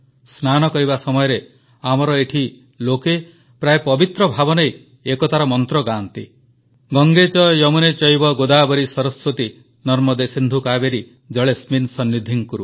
ସ୍ନାନ କରିବା ସମୟରେ ଆମର ଏଠି ଲୋକେ ପ୍ରାୟ ପବିତ୍ର ଭାବ ନେଇ ଏକତାର ମନ୍ତ୍ର ଗାଆନ୍ତି ଗଙ୍ଗେ ଚ ୟମୁନେ ଚୈବ ଗୋଦାବରୀ ସରସ୍ୱତୀ ନର୍ମଦେ ସିନ୍ଧୁ କାବେରୀ ଜଳେସ୍ମିନ୍ ସନ୍ନିଧିଂ କୁରୁ